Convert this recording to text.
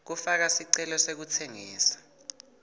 kufaka sicelo sekutsengisa